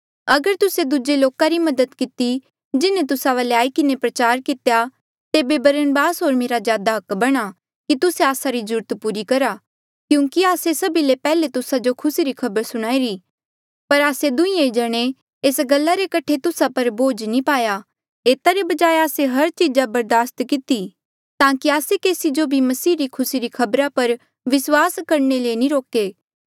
अगर तुस्से दूजे लोका री मदद किती जिन्हें तुस्सा वाले आई किन्हें प्रचार कितेया तेबे बरनबासा होर मेरा ज्यादा हक बणा कि तुस्से आस्सा री जरूरत पूरी करहा क्यूंकि आस्से सभी ले पैहले तुस्सा जो खुसी री खबर सुणाई री पर आस्से दुहीं जणे एस गल्ला रे कठे तुस्सा पर बोझ नी पाया एता रे बजाय आस्से हर चीजा बर्दास किती ताकि आस्से केसी जो भी मसीह री खुसी री खबरा पर विस्वास करणे ले नी रोके